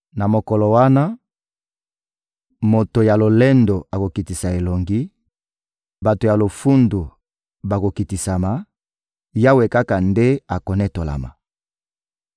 Na mokolo wana, moto ya lolendo akokitisa elongi, bato ya lofundu bakokitisama; Yawe kaka nde akonetolama.